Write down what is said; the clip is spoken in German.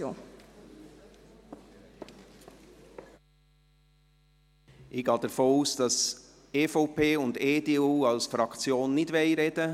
Ich gehe davon aus, dass die EVP und EDU als Fraktionen nicht sprechen wollen.